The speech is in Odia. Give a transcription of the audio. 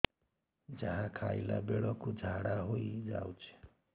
ଯାହା ଖାଇଲା ବେଳକୁ ଝାଡ଼ା ହୋଇ ଯାଉଛି